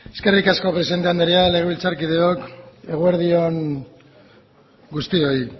eskerrik asko presidente anderea legebiltzarkideok eguerdi on guztioi